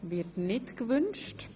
– Das wird nicht gewünscht.